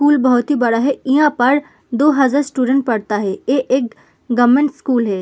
School बोहोत ही बड़ा है। इहाँ पर दो हजार स्टूडेंट पढ़ता है। ए एक गवर्नमेंट स्कूल है।